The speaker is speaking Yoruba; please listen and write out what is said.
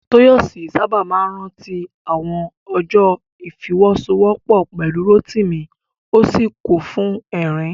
Tóyọ̀sí sáábà máa rántí àwọn ọjọ́ ìfọwọ́sowọ́pọ̀ pẹ̀lú Rótìmí, ó sì kún fún ẹ̀rín